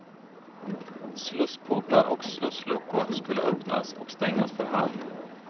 Slussportar och slussluckor skulle öppnas och stängas för hand.